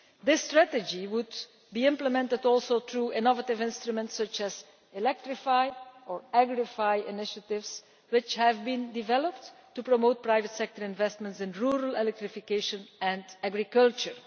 This strategy would be implemented also through innovative instruments such as electrify' or agrify' initiatives, which have been developed to promote private sector investments in rural electrification and agriculture.